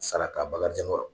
Sara ka bakarijan kɔrɔ